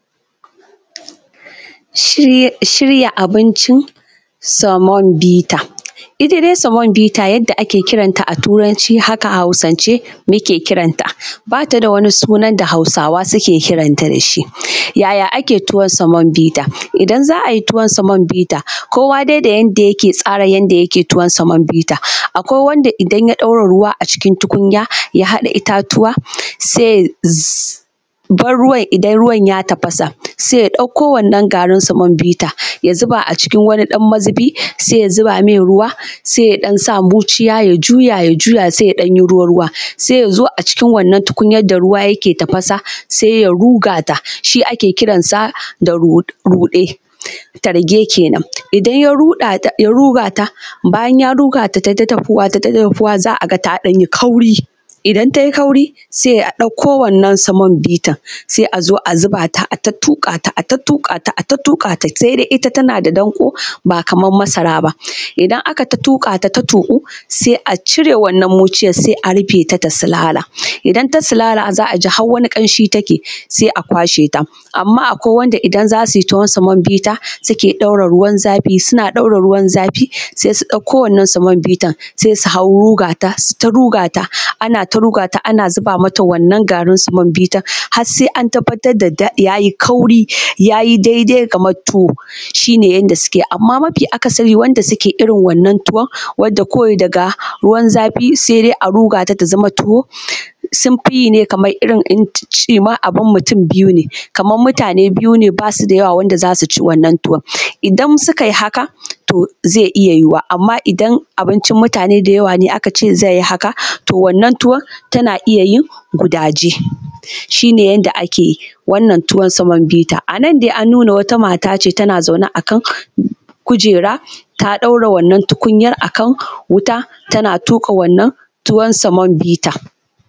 Shirya abincin semovita. Ita dai semovita yadda ake kiranta a turanci haka hausance muke kiran ta, ba tada wani sunan da hausawa ke kiran ta dashi. Yaya ake tuwon semovita? idan za ayi tuwon semovita, kowa dai da yanda yake tsara yanda yake tuwon semovita, akwai wanda idan ya ɗora ruwa acikin tukunya ya haɗa itatuwa sai ya bar ruwan, idan ruwan ya tafasa sai ya ɗauko wannan garin semovita ya zuba a cikin wani ɗan mazubi, sai ya zuba mai ruwa sai ya ɗan sa muciya ya juya ya juya sai ya ɗan yi ruwa-ruwa, sai yazo a cikin wannan tukunyar da ruwa yake tafasa ya ruga ta, shi ake kiran sa da ruɗe talge kenan, idan ya ruga ta bayan ya ruga ta taita dahuwa za a ga ta ɗan yi kauri, idan tayi kauri sai a ɗauko wannan semovita, sai azo a zuba ta a ta tuƙa ta a ta tuƙata ata tuƙata, ita tana da danƙo ba kamar masara ba, idan akaita tuƙata ta tuƙu sai a cire wannan muciyar, sai a rufe ta ta sulala, idan ta sulala za a ji har wani ƙamshi take, sai a kwashe ta, amman akwai wanda idan za suyi tuwon semovita, suke ɗaura ruwan zafi, suna ɗaura ruwan zafi sai su ɗauko wannan semovita sai su hau ruga ta suyi ta rugata, anata rugata ana zuba mata wannan garin semovita, har sai an tabbatar da yayi kauri, ya yi dai-dai kamar tuwo, shi ne yanda suke amman mafi akasari wanda suke irin wannan tuwon, wanda kawai daga ruwan zafi sai dai a rugata ta zama tuwo, sun fi yi ne kamar irin in cimar abun mutum biyu ne kamar mutane biyu ne basu da yawa da zasu ci wannan tuwon, idan sukayi haka, to zai iya yiwuwa, amman idan abincin mutane da yawa ne aka ce zai yi haka, to wannan tuwon tana iya yin gudaji, shi ne yadda ake yin wannan tuwon semovita. Anan dai an nuna wata mat ace tana zaune akan kujera ta ɗaura wanna tukunyar akan wuta tana tuka wannan tuwan semovita.